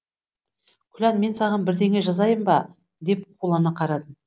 күлән мен саған бірдеңе жазайын ба деп қулана қарадым